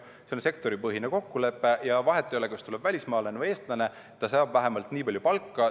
See on sektoripõhine kokkuleppe ja vahet ei ole, kas tuleb välismaalane või eestlane, ta saab vähemalt nii palju palka.